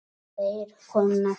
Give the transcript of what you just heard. Þeir kunna þetta.